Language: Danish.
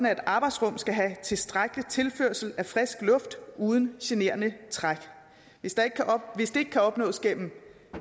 at et arbejdsrum skal have tilstrækkelig tilførsel af frisk luft uden generende træk hvis det ikke kan opnås gennem